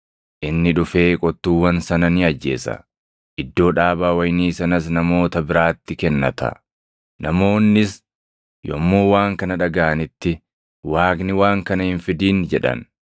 Inni dhufee qottuuwwan sana ni ajjeesa; iddoo dhaabaa wayinii sanas namoota biraatti kennata.” Namoonnis yommuu waan kana dhagaʼanitti, “Waaqni waan kana hin fidin!” jedhan.